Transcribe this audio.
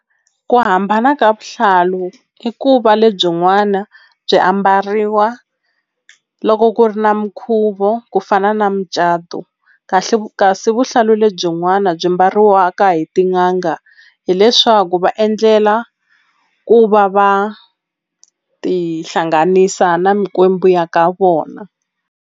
Ku hambana ka vuhlalu i ku va lebyi n'wana byi ambariwa loko ku ri na minkhuvo ku fana na mucato kahle kasi vuhlalu lebyi le byin'wana byi mbariwaka hi tin'anga hileswaku va endlela ku va va ti hlanganisa na mikwembu ya ka vona.